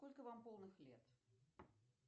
сколько вам полных лет